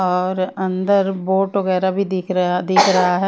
और अंदर बोट वगैरह भी दिख रहा दिख रहा है।